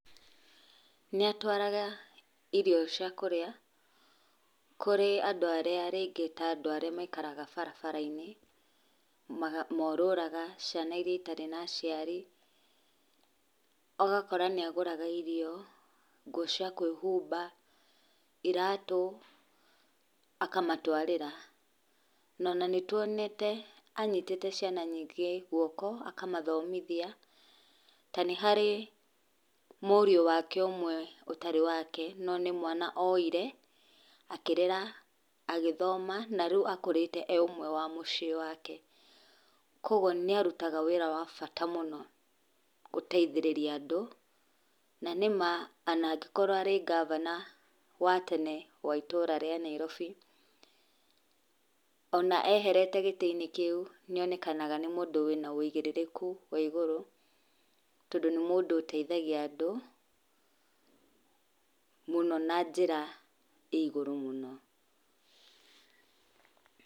Nĩatũaraga irio cĩa kũrĩa kũrĩ andũ arĩa rĩngĩ ta andũ arĩa maikaraga barabara-inĩ, ma morũraga ciana irĩa itarĩ na aciari, ũgakora nĩagũraga irio, indo cia kwĩhumba, iratũ, akamatwarĩra. Na ona nĩtwonete anyitĩte ciana nyingĩ guoko, akamathomithia, ta nĩ harĩ mũriũ wake ũmwe, ũtarĩ wake, no nĩ mwana oire, akĩrera, agĩthoma, na rĩu akũrĩte e ũmwe wa mũciĩ wake. Koguo nĩarutaga wĩra wa bata mũno gũteithĩrĩria andũ, na nĩma ona angĩkorwo arĩ gavana wa tene wa itũra rĩa Nairobi, ona eherete gĩtĩ-inĩ kĩu, nĩonekanaga nĩ mũndũ wĩna ũigĩrĩrĩku wa igũrũ, tondũ nĩ mũndũ ũteithagia andũ mũno na njĩra ĩ igũrũ.